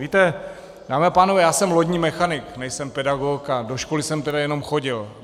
Víte, dámy a pánové, já jsem lodní mechanik, nejsem pedagog a do školy jsem tedy jenom chodil.